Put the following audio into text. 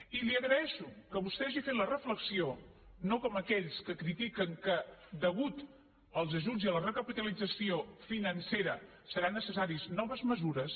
i li agraeixo que vostè hagi fet la reflexió no com aquells que critiquen que a causa dels ajuts i la recapitalització financera seran necessàries noves mesures